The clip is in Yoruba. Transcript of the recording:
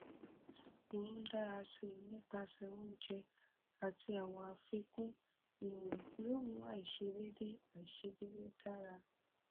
bẹ́ẹ̀ ni o lè ní ààrùn oríkèé ara ríro tí kìí jẹ kí iṣan ara ṣiṣẹ dáadáa